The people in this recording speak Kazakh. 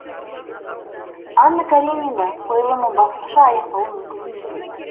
анна каренина қойылымы басқаша аяқталуы мүмкін емес еді